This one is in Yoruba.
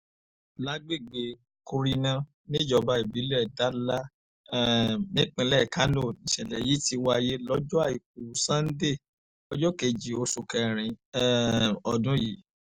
lágbègbè kurna níjọba ìbílẹ̀ dala um nípínlẹ̀ kánó nìṣẹ̀lẹ̀ yìí ti wáyé lọ́jọ́ àìkú sanńdé ọjọ́ kejì oṣù kẹrin um ọdún yìí